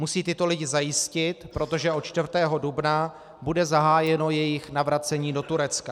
Musí tyto lidi zajistit, protože od 4. dubna bude zahájeno jejich navracení do Turecka.